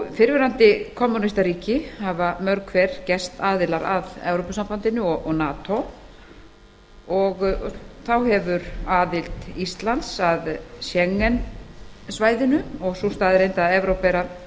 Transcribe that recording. fyrrverandi kommúnistaríki hafa mörg hver gerst aðilar að evrópusambandinu og nato þá hefur aðild íslands að schengen svæðinu og sú staðreynd að evrópa er að